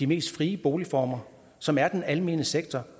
mest frie boligform som er den almene sektor